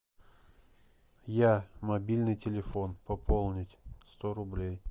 я мобильный телефон пополнить сто рублей